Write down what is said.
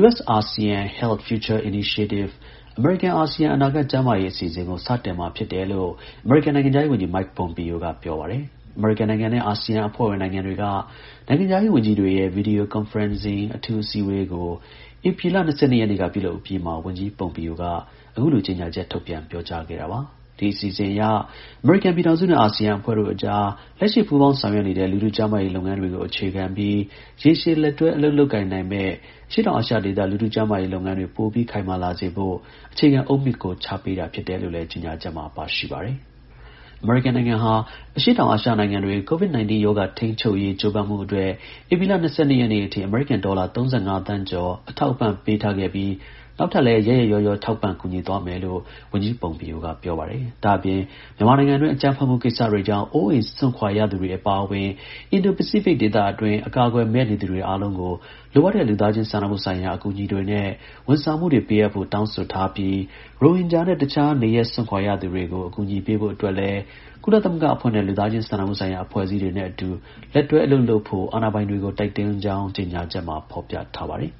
US-ASEAN Health Future Initiative အမေရိကန်-အာဆီယံ အနာဂတ် ကျန်းမာရေး အစီအစဉ်ကို စတင်မှာ ဖြစ်တယ် လို့ အမေရိကန် နိုင်ငံခြားရေး ဝန်ကြီး Mike Pompeo က ပြော ပါတယ်။ အမေရိကန်နိုင်ငံနဲ့ အာဆီယံအဖွဲ့ဝင်နိုင်ငံတွေက နိုင်ငံခြားရေး ဝန်ကြီးတွေရဲ့ Video Conferencing အထူးအစည်းအဝေး ကို ဧပြီလ ၂၂ နေ့က ပြုလုပ်အပြီးမှာ ဝန်ကြီး Pompeo က အခုလို ကြေညာချက်ထုတ်ပြန် ပြောကြားခဲ့တာပါ။ ဒီအစီအစဉ်အရ အမေရိကန်ပြည်ထောင်စုနဲ့ အာဆီယံအဖွဲ့တို့အကြား လက်ရှိ ပူးပေါင်းဆောင်ရွက် နေတဲ့ လူထု ကျန်းမာရေး လုပ်ငန်း တွေကို အခြေခံပြီး ရေရှည် လက်တွဲ အလုပ်လုပ်ကိုင်နိုင်မယ့် အရှေ့တောင်အာရှဒေသ လူထု ကျန်းမာရေးလုပ်ငန်းတွေ ပိုပြီး ခိုင်မာလာ စေဖို့ အခြေခံ အုတ်မြစ်ကို ချပေးတာဖြစ်တယ်လို့လည်း ကြေညာချက်မှာ ပါရှိ ပါတယ်။ အမေရိကန်နိုင်ငံဟာ အရှေ့တောင်အာရှနိုင်ငံ တွေ COVID-19 ရောဂါထိန်းချုပ်ရေးကြိုးပမ်းမှုအတွက် ဧပြီလ ၂၂ ရက်နေ့အထိ အမေရိကန်ဒေါ်လာ ၃၅ သန်းကျော် အထောက်အပံ့ပေး ထားခဲ့ပြီး နောက်ထပ် လည်း ရက်ရက်ရောရော ထောက်ပံ့ ကူညီသွားမယ်လို့ ဝန်ကြီး Pompeo က ပြောပါတယ်။ ဒါ့အပြင် မြန်မာနိုင်ငံအတွင်း အကြမ်းဖက်မှုကိစ္စတွေကြောင့် အိုးအိမ်စွန့်ခွာရသူတွေ အပါအဝင်အင်ဒို ပစိဖိတ်ဒေသအတွင်း အကာ အကွယ်မဲ့ နေသူတွေအားလုံးကို လိုအပ်တဲ့ လူသားချင်းစာနာမှုဆိုင်ရာ အကူအညီတွေနဲ့ ဝန်ဆောင်မှုတွေ ပေးအပ်ဖို့ တောင်းဆိုထားပြီး ရိုဟင်ဂျာနဲ့ တစ်ခြား နေရပ်စွန့်ခွာရသူတွေကို အကူအညီပေးဖို့အတွက်လည်း ကုလသမဂ္ဂအဖွဲ့နဲ့ လူသားချင်းစာနာမှုဆိုင်ရာ အဖွဲ့အစည်း တွေနဲ့ အတူ လက်တွဲ အလုပ်လုပ်ဖို့ အာဏာပိုင်တွေကို တိုက်တွန်းကြောင်း ကြေညာချက်မှာ ဖော်ပြထားပါတယ်။